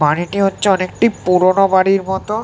বাড়িটি হচ্ছে অনেকটি পুরোনো বাড়ির মতো।